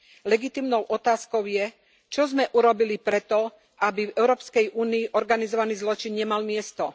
Legitímnou otázkou je, čo sme urobili pre to, aby v Európskej únii organizovaný zločin nemal miesto.